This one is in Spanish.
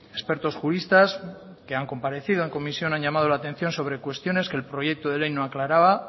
expertos juristas que han comparecido en comisión han llamado la atención sobre cuestiones que el proyecto de ley no aclaraba